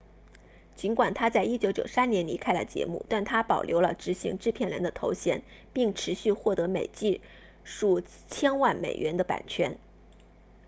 尽管他在1993年离开了节目但他保留了执行制片人的头衔并持续获得每季数千万美元的版税